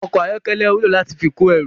Ọkọ̀ ayọ́kẹ́lẹ́ wúlò láti fi kó ẹrù